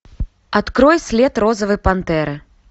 открой след розовой пантеры